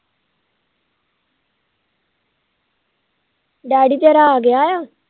dady ਤੇਰਾ ਆਗਿਆ ਆ